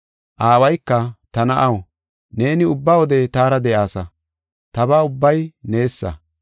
“Aawayka, ‘Ta na7aw, neeni ubba wode taara de7aasa, taba ubbay neesa.